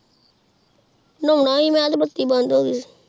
ਨਾਉਣ ਸੀ ਮੈ ਅਜੇ ਬੱਤੀ ਅਬੰਡ ਹੋ ਗਯੀ